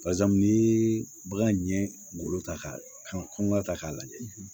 Barisa n'i ye bagan ɲɛ golo ta ka kan kɔnɔna ta k'a lajɛ